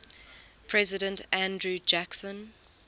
president andrew jackson